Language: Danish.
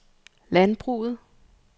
landbruget